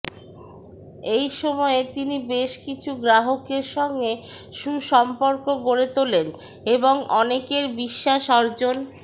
এই সময়ে তিনি বেশ কিছু গ্রাহকের সঙ্গে সুসম্পর্ক গড়ে তোলেন এবং অনেকের বিশ্বাস অর্জন